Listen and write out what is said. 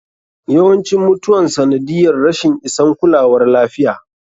Yawancin mutuwan sanadiyyar rashin isan kulawar lafiya.